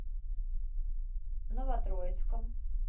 новотроицком